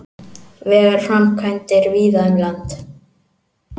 Vegaframkvæmdir víða um land